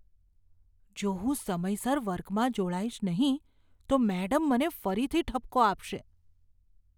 જો હું સમયસર વર્ગમાં જોડાઈશ નહીં તો મેડમ મને ફરીથી ઠપકો આપશે.